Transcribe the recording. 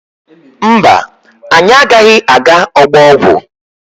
Mba, anyị agaghị aga ọgbọ ọgwụ.